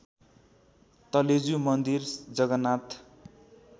तलेजु मन्दिर जगन्नाथ